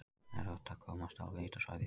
Erfitt að komast á leitarsvæði